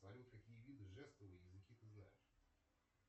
салют какие виды жестов и языки ты знаешь